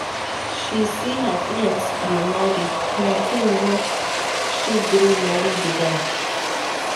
She see sey her friends dey marry na im make she gree marry di guy.